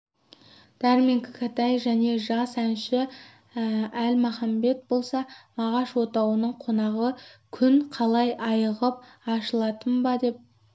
дәрмен кәкітай және жас әнші әлмағамбет болса мағаш отауының қонағы күн қалай айығып ашылатын ба деп